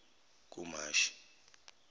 kumashi